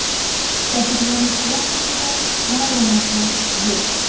Jabrlanuvchilar haqida ma’lumotlar yo‘q.